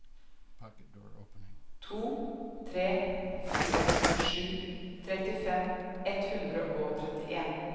to tre fire sju trettifem ett hundre og trettien